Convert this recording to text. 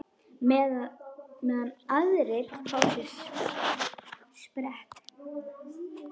Meðan aðrir fá sér sprett?